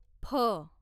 फ